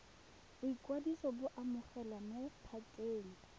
boikwadiso bo amogelwa mo pakeng